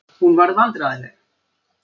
Hún varð vandræðaleg.